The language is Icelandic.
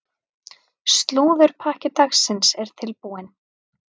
Slúðurpakki dagsins er tilbúinn.